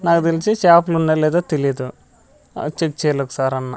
నాకు తెలిసి షాపులున్నాయో లేదో తెలీదు ఆ చెక్ చేయాలొకసారన్నా.